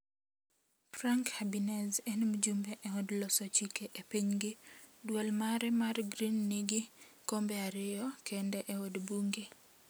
Frank Habinez en mjumbe eod loso chike epinygi, duol mare mar Green nigi kombe ariyo kende eod bunge.